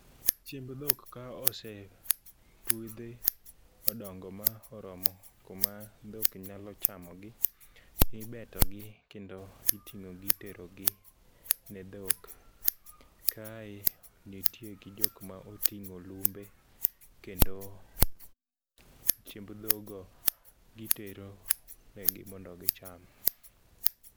Chiemb dhok ka osepidhi odongo ma oromo kuma dhok nyalo chamogi ibetogi kendo iting'o gi iterogi ne dhok. Kae nitie gi jokma oting'o lumbe kendo chiemb dhogo gitero negi mondo gicham.